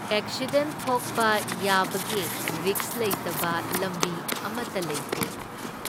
Accident ꯊꯣꯛꯄ ꯌꯥꯕꯒꯤ ꯔꯤꯛꯁ ꯂꯩꯇꯕ ꯂꯝꯕꯤ ꯑꯃꯇ ꯂꯩꯇꯦ꯫